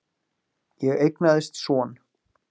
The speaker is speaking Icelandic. Ég eignaðist son.